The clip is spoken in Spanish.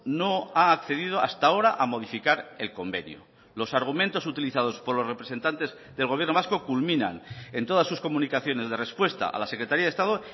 no ha accedido hasta ahora a modificar el convenio los argumentos utilizados por los representantes del gobierno vasco culminan en todas sus comunicaciones de respuesta a la secretaría de estado